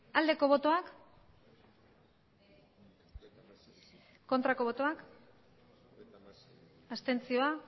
aldeko botoak aurkako botoak abstentzioa